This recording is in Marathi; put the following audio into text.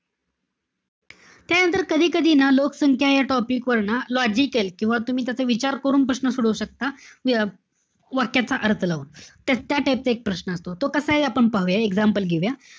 त्यानंतर कधी-कधी ना, लोकसंख्या या topic वर ना, logical किंवा तुम्ही तसे विचार करून प्रश्न सोडवू शकता. अं वाक्याचा अर्थ लावून. त त्या type चा एक प्रश्न असतो. तो कसाय, आपण पाहूया, example घेऊया.